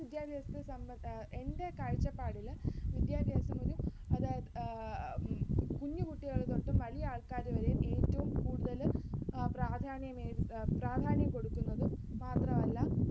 വിദ്യാഭ്യാസത്തെ എൻ്റെ കാഴ്ച്ചപ്പാടില് വിദ്യാഭ്യാസമൊരു അതായത് കുഞ്ഞുകുട്ടികൾ തൊട്ടും വലിയ ആൾക്കാരുവരെയും ഏറ്റവും കൂടുതൽ പ്രാധാന്യം പ്രാധാന്യം കൊടുക്കുന്നത് മാത്രമല്ല